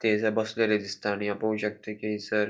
थंयसर बसलेली दिसता आणि हाव पोव शकता की हैसर --